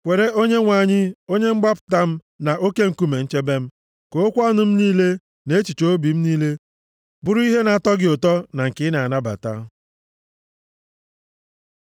Kwere Onyenwe anyị, Onye mgbapụta m, na Oke nkume nchebe m, ka okwu ọnụ m niile, na echiche obi m niile, bụrụ ihe na-atọ gị ụtọ, na nke ị na-anabata.